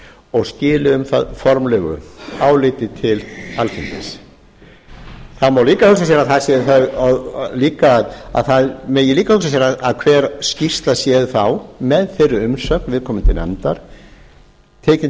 og skili um það formlegu áliti til alþingis það má líka hugsa sér að hver skýrsla sé þá með þeirri umsögn viðkomandi nefndar tekin